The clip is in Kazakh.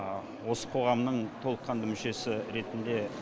осы қоғамның толыққанды мүшесі ретіндеі